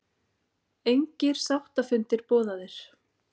Engir sáttafundir boðaðir